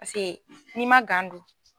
Paseke n'i man don